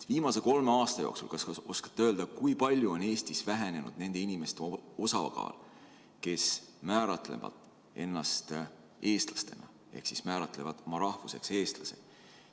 Kas oskate öelda, kui palju on Eestis viimase kolme aasta jooksul vähenenud nende inimeste osakaal, kes määratlevad ennast eestlasena, ehk siis määratlevad oma rahvuseks eestlane?